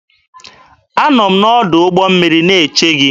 Anọ m n'ọdụ ụgbọ mmiri na-eche gị.